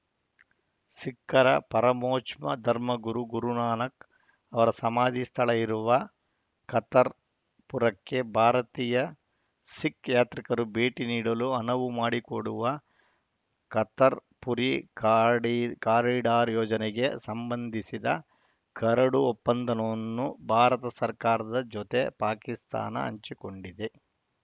ಸಿಖ್ಖರ ಪರಮೋಚ್ಮ ಧರ್ಮಗುರು ಗುರುನಾನಕ್‌ ಅವರ ಸಮಾಧಿ ಸ್ಥಳ ಇರುವ ಕರ್ತಾರ್‌ಪುರಕ್ಕೆ ಭಾರತೀಯ ಸಿಖ್‌ ಯಾತ್ರಿಕರು ಭೇಟಿ ನೀಡಲು ಅನವು ಮಾಡಿಕೊಡುವ ಕತರ್ ಪುರಿ ಕಾಡಿ ಕಾರಿಡಾರ್‌ ಯೋಜನೆಗೆ ಸಂಬಂಧಿಸಿದ ಕರಡು ಒಪ್ಪಂದನವನ್ನು ಭಾರತ ಸರ್ಕಾರದ ಜೊತೆ ಪಾಕಿಸ್ತಾನ ಹಂಚಿಕೊಂಡಿದೆ